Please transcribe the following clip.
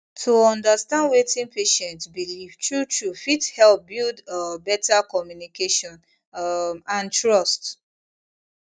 to understand wetin patient believe truetrue fit help build um better communication um and trust